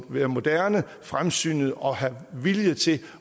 være moderne fremsynede og have viljen til